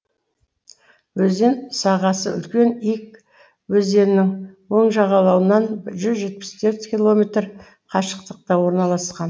өзен сағасы үлкен ик өзенінің оң жағалауынан жүз жетпіс төрт километр қашықтықта орналасқан